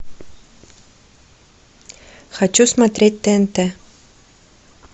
хочу смотреть тнт